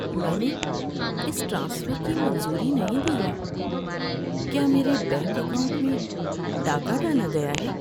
میں نے اس ٹرانسفر کی منظوری نہیں دی ہے۔ کیا میرے بینک اکاؤنٹ میں ڈاکہ ڈالا گیا ہے؟